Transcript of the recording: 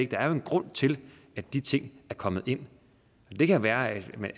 der er jo en grund til at de ting er kommet ind det kan være af